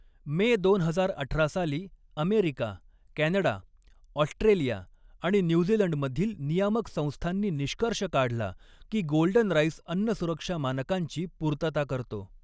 मे दोन हजार अठरा साली अमेरिका, कॅनडा, ऑस्ट्रेलिया आणि न्यूझिलंडमधील नियामक संस्थांनी निष्कर्ष काढला की गोल्डन राइस अन्नसुरक्षा मानकांची पूर्तता करतो.